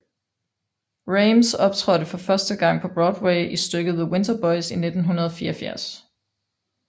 Rhames optrådte for første gang på Broadway i stykket The Winter Boys i 1984